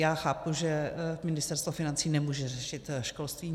Já chápu, že Ministerstvo financí nemůže řešit školství.